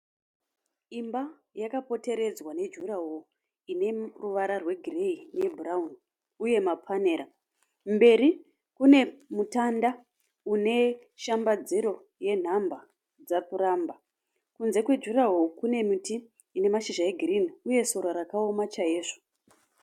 Imba yakapoteredzwa nejuraho ine ruvara rwegireyi nebhurauni uye mapanera. Mberi kune mutanda une shambadziro yenhamba dzapuramba. Kunze kwejuraho kune miti ine mashizha egirini uye sora rakaoma chaizvo